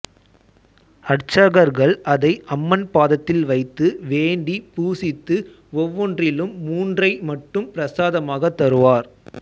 அர்ச்சகர்கள் அதை அம்மன் பாதத்தில் வைத்து வேண்டிப் பூசித்து ஒவ்வொன்றிலும் மூன்றை மட்டும் பிரசாதமாகத் தருவார்